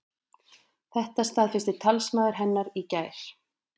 Þetta staðfesti talsmaður hennar í gær